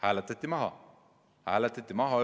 See hääletati maha.